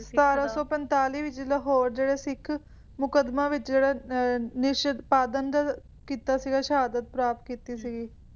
ਸਤਾਰਾਂ ਸੌ ਪੰਤਾਲੀ ਵਿਚ ਲਾਹੌਰ ਜਿਹੜੇ ਸਿੱਖ ਮੁੱਕਦਮਾ ਵਿਚ ਜਿਹੜੇ ਮਿਸ਼ਨ ਪ੍ਰਦੰਗਕ ਕੀਤਾ ਸੀਗਾ ਸ਼ਾਹਹਦ ਪ੍ਰਾਪਤ ਕੀਤੀ ਸੀਗੀ